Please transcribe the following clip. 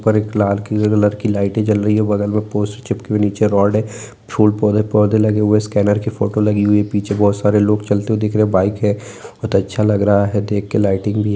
ऊपर एक लाल किलर कलर की लाइटे जल रही है बगल मे पोस्टर चिपके हुए नीचे रौड है फूल पौधे-पौधे लगे हुए है स्कैनर की फोटो लगी हुई है पीछे बहुत सारे लोग चलते हुए दिख रहे है बाइक है बहुत अच्छा लग रहा है देख के लाइटिंग भी है।